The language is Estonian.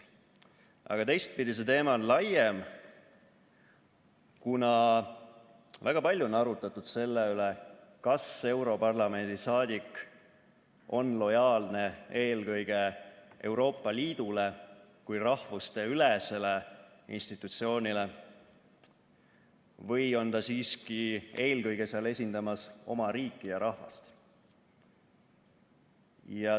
Aga teistpidi on see teema laiem, kuna väga palju on arutatud selle üle, kas europarlamendi saadik on lojaalne eelkõige Euroopa Liidule kui rahvusteülesele institutsioonile või on ta siiski seal esindamas oma riiki ja rahvast.